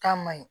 K'a man ɲi